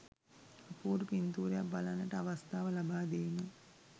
අපූරු පින්තූරයක් බලන්නට අවස්ථාව ලබාදීම